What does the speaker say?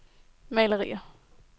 malerier